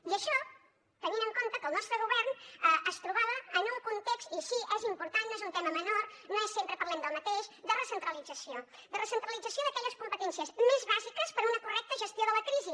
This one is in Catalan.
i això tenint en compte que el nostre govern es trobava en un context i sí és important no és un tema menor no és sempre parlem del mateix de recentralització de recentralització d’aquelles competències més bàsiques per a una correcta gestió de la crisi